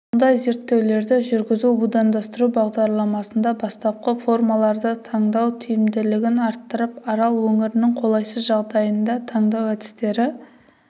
мұндай зерттеулерді жүргізу будандастыру бағдарламасында бастапқы формаларды таңдау тиімділігін арттырып арал өңірінің қолайсыз жағдайында таңдау әдістері